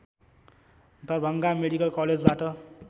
Darbhanga medical कलेजबाट